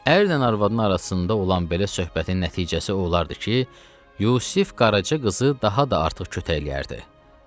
Ərlə arvadın arasında olan belə söhbətin nəticəsi o olardı ki, Yusif Qaraca qızı daha da artıq kötəkləyərdi.